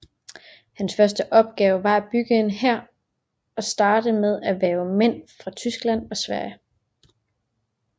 Hans første opgave var at opbygge en hær og starte med at hverve mænd fra Tyskland og Sverige